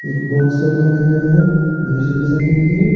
एक बॉक्स रखा गया है म्यूजिक बजाने के लिए--